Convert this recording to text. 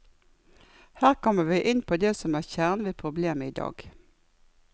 Her kommer vi inn på det som er kjernen ved problemet i dag.